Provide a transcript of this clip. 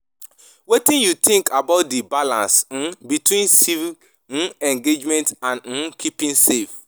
Wetin you think about di balance um between civic um engagement and um keeping safe?